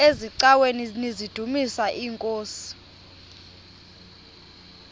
eziaweni nizidumis iinkosi